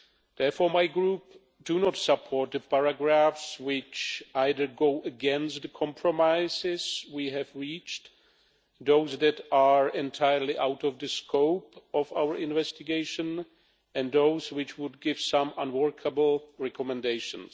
Therefore, my Group does not support the paragraphs which either go against the compromises we have reached, those that are entirely out of the scope of our investigation, or those which would give some unworkable recommendations.